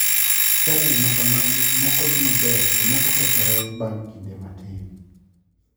Chadi makamagi moko dhi maber to moko kethore bang' kinde matin.